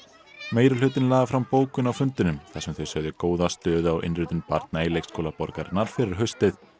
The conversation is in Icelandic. meirihlutinn lagði fram bókum á fundinum þar sem þau sögðu góða stöðu á innritun barna í leikskóla borgarinnar fyrir haustið